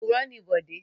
Òpùrọ́ ni Bọ̀dé.